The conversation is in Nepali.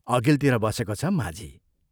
अघिल्तिर बसेको छ माझी।